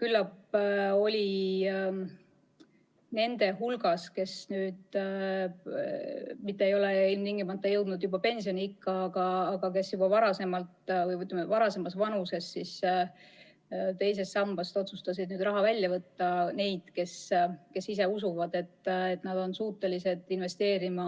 Küllap oli nende hulgas – kes ei ole ilmtingimata jõudnud veel pensioniikka, vaid kes juba varasemas vanuses on otsustanud II sambast raha välja võtta – neid, kes usuvad, et nad ise suudavad investeerida